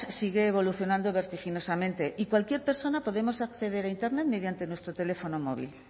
sigue evolucionando vertiginosamente y cualquier persona podemos acceder a internet mediante nuestro teléfono móvil